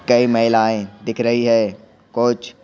कई महिलाएं दिख रही है कुछ--